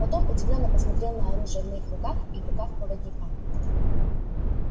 потом удивлённо посмотрел на оружие в моих руках и в руках проводника